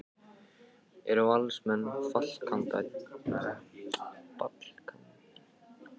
Eru Valsmenn fallkandídatar?